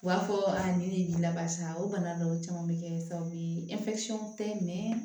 U b'a fɔ ni ji labasa o bana dɔw caman bɛ kɛ sababu ye tɛ